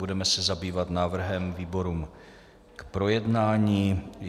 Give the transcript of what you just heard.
Budeme se zabývat návrhem výborům k projednání.